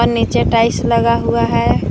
नीचे टाइल्स लगा हुआ है।